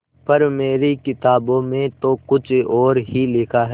पर मेरी किताबों में तो कुछ और ही लिखा है